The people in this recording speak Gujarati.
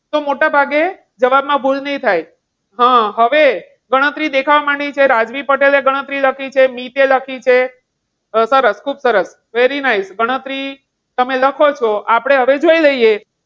તો મોટાભાગે જવાબ માં ભૂલ નહીં થા. હમ હવે ગણતરી દેખાવા માંડી છે. રાજવી પટેલએ ગણતરી લખી છે. દીપ એ લખી છે. સરસ ખૂબ સરસ. very nice ગણતરી તમે લખો છો આપણે હવે જોઈ લઈએ.